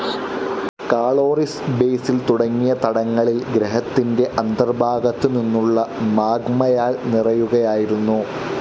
Caloris basin തുടങ്ങിയ തടങ്ങളിൽ ഗ്രഹത്തിന്റെ അന്തർഭാഗത്തുനിന്നുള്ള മാഗ്മയാൽ നിറയുകയായിരുന്നു.